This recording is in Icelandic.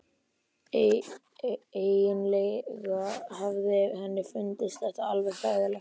Eiginlega hafði henni fundist það alveg hræðilegt.